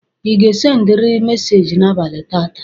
Ị ga-sendịrị meseji n'abalị tata?